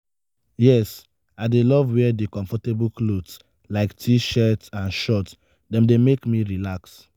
yes i dey love wear di comfortable clothes like t-shirt and shorts dem dey make me relax.